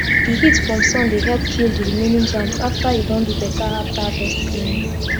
d heat from sun dey help kill d remaining germs after u don do beta after harvest cleaning